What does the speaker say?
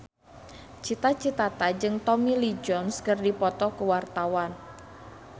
Cita Citata jeung Tommy Lee Jones keur dipoto ku wartawan